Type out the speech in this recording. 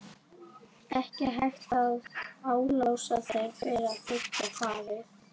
Ekki hægt að álasa þér fyrir að þiggja farið.